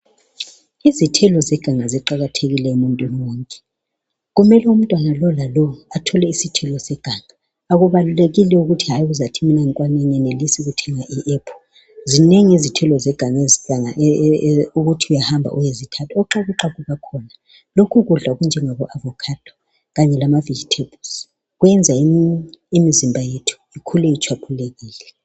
Izithelo zeganga ziqakathekile emuntwini wonke kumele umntwana lolalo athole isithelo seganga akubaluelekile ukuthi uzathi wena awenelisanga ukuthenga apple zinengi izithelo zeganga ukuthi uyakwanisa ukuhamba uyezithatha oxhakuxhaku bakhona lokhu ukudla okunjengabo ovacado kanye lamavegetables kuyenza imizimba yethu ikhule ihlanzekile.